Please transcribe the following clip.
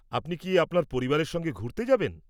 -আপনি কি আপনার পরিবারের সঙ্গে ঘুরতে যাবেন?